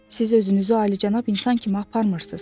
Siz özünüzü alicənab insan kimi aparmırsız.